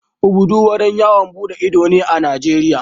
Obudu wurin yawon duɗe ido ne a Najeriya.